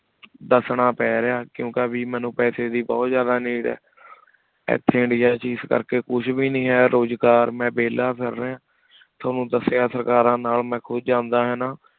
ਦਸਣਾ ਪੈ ਰਿਯ ਕੁੰਕ੍ਯ ਵੀਰ ਮੇਨੂ ਪੇਸ ਦੇ ਬੁਹਤ ਜ਼ਿਯਾਦਾ need ਆ ਇਥੀ ਇੰਡੀਆ ਵਿਚ ਇਸ ਕਰ ਕੀ ਕੁਛ ਵੇ ਨਹੀ ਹੈ ਕੁਛ ਕਰ ਮੈ ਵੇਲਾ ਫਿਰ ਰਿਯ ਤ੍ਵਾਨੁ ਦਸ੍ਯ ਸਰਕਾਰਾਂ ਨਾਲ ਮੈ ਖੁਦ ਜਾਂਦਾ ਹੈਨਾ